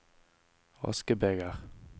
askebeger